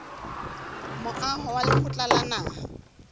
moaho wa lekgotla la naha